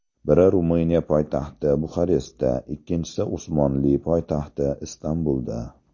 Biri Ruminiya poytaxti Buxarestda, ikkinchisi Usmonli poytaxti Istanbulda.